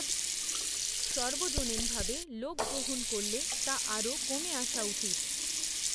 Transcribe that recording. সর্বজনীনভাবে লোক গ্রহণ করলে তা আরও কমে আসা উচিত।